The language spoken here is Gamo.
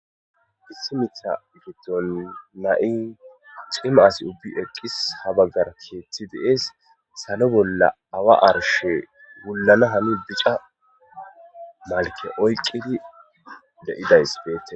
Issi miththa giddonni na'i cima asi ubbi eqis haa bagara keththi de'es.salo bolla awa arishsheyi wulana hani bica malikke oyikkidi de'idayiss betees.